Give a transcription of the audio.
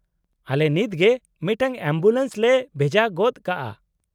-ᱟᱞᱮ ᱱᱤᱛᱜᱮ ᱢᱤᱫᱴᱟᱝ ᱮᱢᱵᱩᱞᱮᱱᱥ ᱞᱮ ᱵᱷᱮᱡᱟ ᱜᱚᱫ ᱠᱟᱜᱼᱟ ᱾